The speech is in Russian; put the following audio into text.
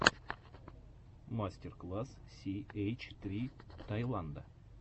мастер класс си эйч три таиланда